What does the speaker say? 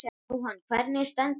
Jóhann: Hvernig stendur á því?